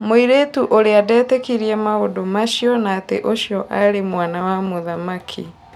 mũirĩtu ũrĩa ndetĩkirie maũndu macio na ati ũcio arĩ mwana wa mũthamaki.